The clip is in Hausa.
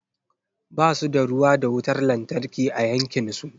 Ba su da ruwa da wutar lantarki a yankin su.